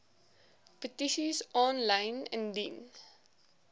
petisies aanlyn indien